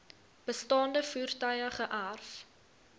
bestaande voertuie geërf